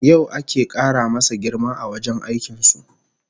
Yau ake kara masa girma a wajen aikin su